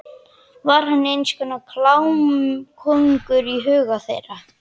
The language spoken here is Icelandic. Var hann eins konar klámkóngur í huga þeirra?